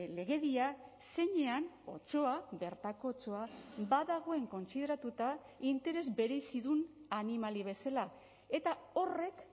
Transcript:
legedia zeinean otsoa bertako otsoa badagoen kontsideratuta interes berezidun animali bezala eta horrek